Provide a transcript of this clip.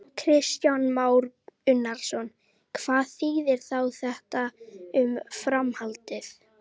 Kristján Már Unnarsson: Hvað þýðir þá þetta um framhaldið?